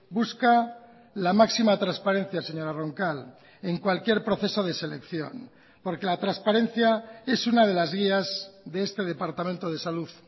busca la máxima transparencia señora roncal en cualquier proceso de selección porque la transparencia es una de las guías de este departamento de salud